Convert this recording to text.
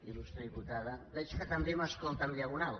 il·lustre diputada veig que també m’escolta en diagonal